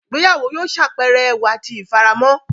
Ìgbéyàwó yóò ṣàpẹẹrẹ ẹwà tí ifaramo.